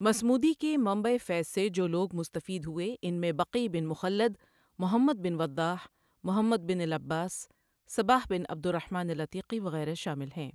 مصمودی کے منبع فیض سے جو لوگ مستفید ہوئے ان میں بقی بن مخلد، محمد بن وضاح، محمد بن العباس، صباح بن عبدالرحمن العتیقی وغیرہ شامل ہیں۔